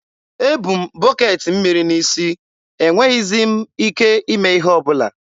e bu m bọketị mmiri n'isi, e nweghịzi m ike ime ihe ọbụla.